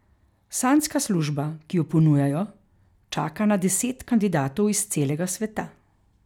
Sanjska služba, ki jo ponujajo, čaka na deset kandidatov iz celega sveta.